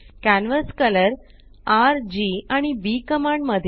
canvas colour RG आणि B command मध्ये